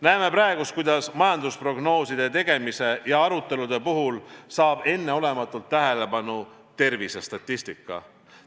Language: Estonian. Näeme praegu, kuidas majandusprognooside tegemise ja arutelude puhul saab enneolematut tähelepanu tervisestatistika.